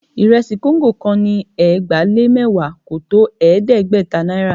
Ìrẹsì kóńgò kan ni ẹgbàá-lé-mẹ́wàá kò tó ẹ̀ẹ́dẹ́gbẹ̀ta náírà